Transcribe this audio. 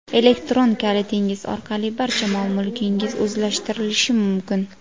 Elektron kalitingiz orqali barcha mol-mulkingiz o‘zlashtirilishi mumkin.